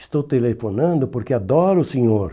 Estou telefonando porque adoro o Senhor.